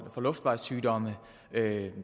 får luftvejssygdomme